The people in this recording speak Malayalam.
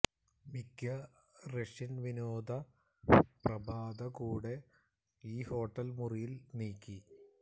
മിക്ക റഷ്യൻ വിനോദ പ്രഭാത കൂടെ ഈ ഹോട്ടൽ മുറിയിൽ നീക്കി